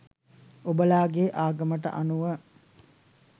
ඔබලාගේ ආගමට අනුව